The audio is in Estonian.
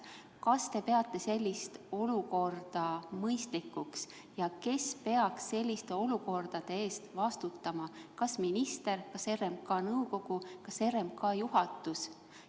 Kas te peate sellist olukorda mõistlikuks ja kes peaks selliste olukordade eest vastutama: kas minister, kas RMK nõukogu, kas RMK juhatus?